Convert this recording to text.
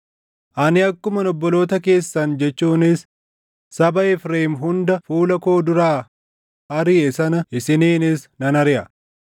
Ani akkuman obboloota keessan jechuunis saba Efreem hunda fuula koo duraa ariʼe sana isiniinis nan ariʼa.’